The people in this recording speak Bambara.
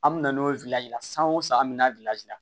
An mi na n'o ye la san o san an mi na la